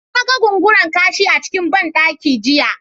Na ga Gungura-kashi a cikin ban daki jiya.